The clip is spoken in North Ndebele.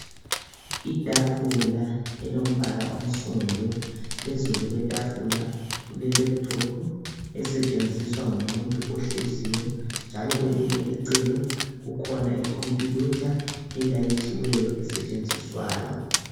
Itafula elombala onsundu phezulu kwetafula kule laptop esetshenziswa ngumuntu ohleziyo njalo kwelinye icele kukhona khompiyutha elayithiweyo esetshenziswayo.